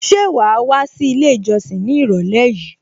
Ṣé wàá wá sí ilé ìjọsìn ní ìrọ̀lẹ́ yìí?